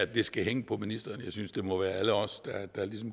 det skal hænge på ministeren jeg synes det må være alle os der